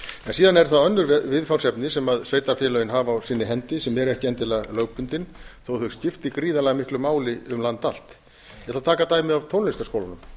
síðan eru það önnur viðfangsefni sem sveitarfélögin hafa á sinni hendi sem eru ekki endilega lögbundin þó þau skipti gríðarlega miklu máli um land allt ég ætla að taka dæmi af tónlistarskólum